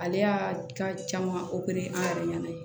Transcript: Ale y'a caman an yɛrɛ ɲɛna